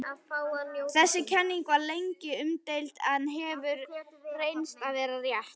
Þessi kenning var lengi umdeild en hefur reynst vera rétt.